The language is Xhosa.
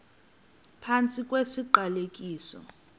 phantsi kwesi siqalekiso